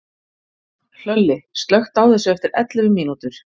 Hlölli, slökktu á þessu eftir ellefu mínútur.